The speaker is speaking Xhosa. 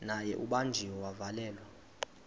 naye ubanjiwe wavalelwa